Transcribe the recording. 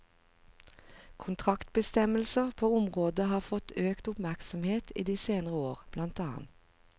Kontraktsbestemmelser på området har fått øket oppmerksomhet i de senere år, bl.